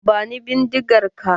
Bani bindigar ka!